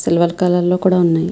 Silver colour లో కూడా ఉన్నాయి.